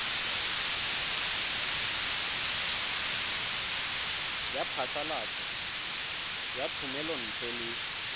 ya phasalatso ya thomelontle le